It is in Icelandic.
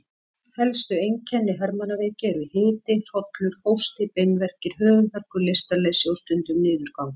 Helstu einkenni hermannaveiki eru hiti, hrollur, hósti, beinverkir, höfuðverkur, lystarleysi og stundum niðurgangur.